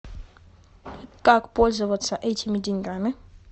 как пользоваться этими деньгами